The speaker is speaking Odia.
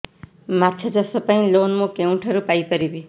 ମାଛ ଚାଷ ପାଇଁ ଲୋନ୍ ମୁଁ କେଉଁଠାରୁ ପାଇପାରିବି